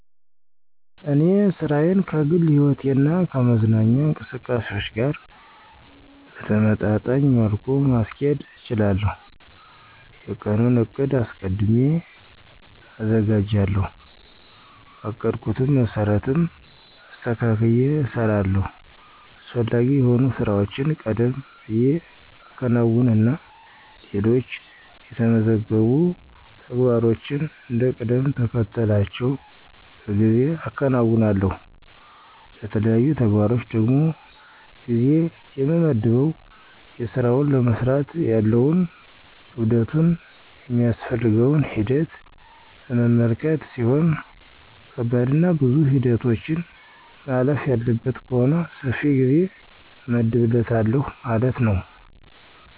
እኔ ሥራዬን ከግል ሕይወቴ እና ከመዝናኛ እንቅስቃሴዎች ጋር በተመጣጣኝ መልኩ ማስኬድ እችላለሁ። የቀኑን ዕቅድ አስቀድሜ አዘጋጃለሁ, በአቀድኩት መሰረትም አስተካክየ እሰራለሁ። አስፈላጊ የሆኑ ሥራዎችን ቀደም ብየ አከናውንና ሌሎች የተመዘገቡ ተግባሮችን እንደ ቅደምተከተላቸው በጊዜ አከናውናለሁ። ለተለያዩ ተግባሮች ደግሞ ጊዜ የምመድበው የስራውን ለመስራት ያለውን ክብደቱን ,የሚያስፈልገውን ሂደት በመመልከት ሲሆን ከባድና ብዙ ሂደቶችን ማለፍ ያለበት ከሆነ ሰፊ ጊዜ እመድብለታለሁ ማለት ነው።